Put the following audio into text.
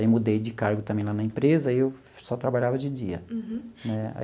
Aí, mudei de cargo também lá na empresa, aí eu só trabalhava de dia. Uhum. Né.